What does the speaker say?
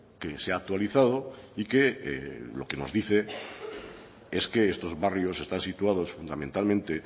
que se ha actualizado y que lo que nos dice es que estos barrios están situados fundamentalmente